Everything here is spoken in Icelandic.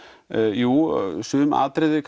jú sum atriði